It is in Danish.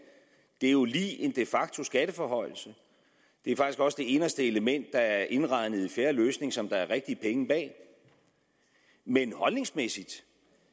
det er jo lige en de facto skatteforhøjelse det er faktisk også det inderste element der er indregnet i fjerde løsning som der er rigtige penge bag men holdningsmæssigt